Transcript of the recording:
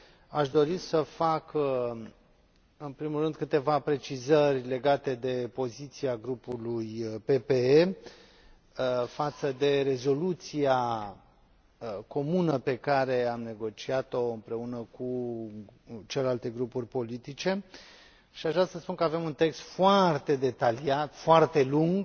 Aș dori să fac, în primul rând, câteva precizări legate de poziția grupului PPE față de rezoluția comună pe care am negociat o împreună cu celelalte grupuri politice și aș vrea să spun că avem un text foarte detaliat, foarte lung